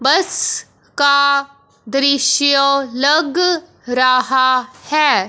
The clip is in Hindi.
बस का दृश्य लग रहा है।